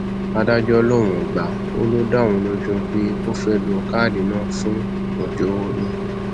adájọ lòun ò gbà ọ ló dá òun lójú pé ó fẹẹ lo káàdì náà fún ọjọọrọ ni